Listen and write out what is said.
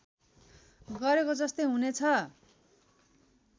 गरेको जस्तै हुने छ